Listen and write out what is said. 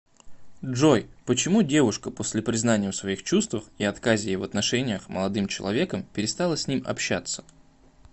джой почему девушка после признания в своих чувствах и отказе ей в отношениях молодым человеком перестала с ним общаться